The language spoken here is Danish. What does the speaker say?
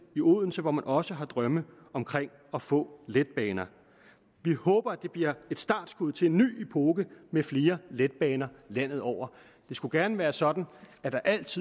i odense hvor man også har drømme om at få letbaner vi håber at det bliver et startskud til en ny epoke med flere letbaner landet over det skulle gerne være sådan at der altid